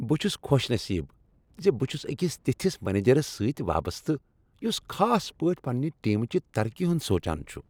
بہٕ چھس خوش نصیب ز بہٕ چھس أکس تتِھس منیجرس سۭتۍ وابستہٕ یس خاص پٲٹھۍ پننہ ٹیم چہ ترقی ہُند سوچان چھ۔